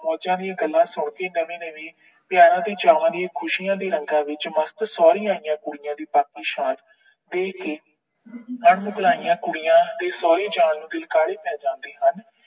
ਮੌਜਾਂ ਦੀਆਂ ਗੱਲਾਂ ਸੁਣ ਕੇ ਨਵੀਂ ਨਵੀਂ ਪਿਆਰਾ ਤੇ ਚਾਵਾਂ ਦੇ ਖੁਸ਼ੀਆਂ ਦੇ ਰੰਗਾਂ ਵਿੱਚ ਮਸਤ ਸੋਹਰੀ ਆਈਆਂ ਕੁੜੀਆਂ ਦੀ ਬਾਗੀ ਸ਼ਾਨ ਵੇਖ ਕੇ ਕੁੜੀਆਂ ਦੇ ਸੋਹਰੇ ਜਾਣ ਨੂੰ ਦਿਲ ਕਾਹਲੇ ਪੈ ਜਾਂਦੇ ਹਨ।